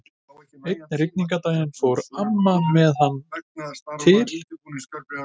Einn rigningardaginn fór amma með hana til